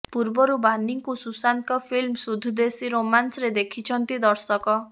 ପୂର୍ବରୁ ବାନିଙ୍କ ସୁଶାନ୍ତଙ୍କ ଫିଲ୍ମ ସୁଦ୍ଧ ଦେଶୀ ରୋମାନ୍ସରେ ଦେଖିଛନ୍ତି ଦର୍ଶକ